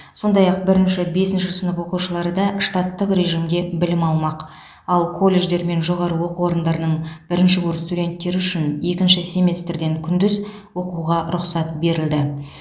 сондай ақ бірінші бесінші сынып оқушылары да штаттық режимде білім алмақ ал колледждер мен жоғары оқу орындарының бірінші курс студенттері үшін екінші семестрден күндіз оқуға рұқсат берілді